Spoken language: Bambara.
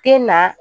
Den na